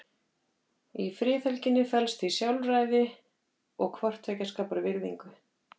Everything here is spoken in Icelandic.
Í friðhelginni felst því sjálfræði og hvort tveggja skapar virðingu.